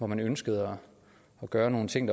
man ønskede at gøre nogle ting